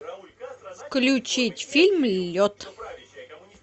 включить фильм лед